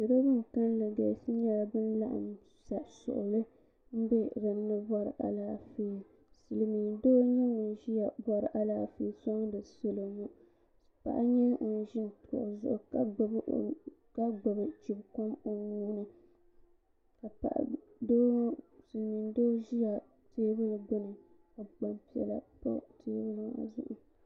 salo bin kanli galisi nyɛla bin laɣam sa suɣuli n bɛ dinni bɔri Alaafee silmiin doo n nyɛ ŋun ʒiya bɔri Alaafee sɔŋdi salo maa paɣa n nyɛ ŋun ʒi kuɣu zuɣu ka gbubi chibi kom o nuuni silmiin doo ʒila teebuli gbuni ka gbanpiɛla pa teebuli ŋɔ zuɣu